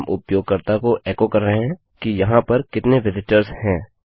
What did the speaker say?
हम उपयोगकर्ता को एको कर रहे हैं कि यहाँ पर कितने विजिटर्सहैं